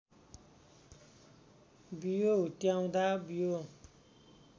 बियो हुत्याउँदा बियो